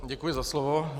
Děkuji za slovo.